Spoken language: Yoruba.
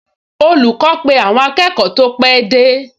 Olùkọ́ pe àwọn akẹ́kọ̀ọ tó pẹ́ dé